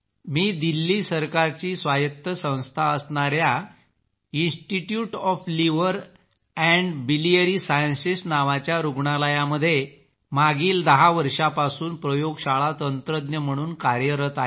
मी दिल्ली सरकारची स्वायत्त संस्था असणाऱ्या institute O F liver and biliary sciences नावाच्या रूग्णालयात मागील 10 वर्षांपासून प्रयोगशाळा तंत्रज्ञ म्हणून कार्यरत आहे